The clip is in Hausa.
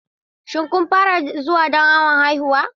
Shin kun fara zuwa don awon haihuwa?